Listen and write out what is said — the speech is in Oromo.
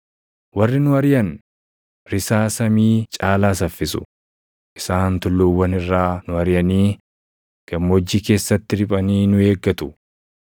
Warri nu ariʼan risaa samii caalaa saffisu; isaan tulluuwwan irraa nu ariʼanii gammoojjii keessatti riphanii nu eeggatu.